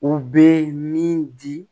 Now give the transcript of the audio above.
U bɛ min di